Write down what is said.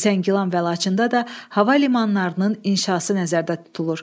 Zəngilan və Laçında da hava limanlarının inşası nəzərdə tutulur.